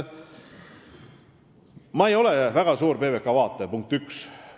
Ma ei ole väga suur PBK vaataja, punkt üks.